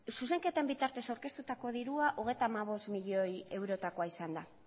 zuzenketaren bitartez aurkeztutako dirua hogeita hamabost milioi eurotakoa izan da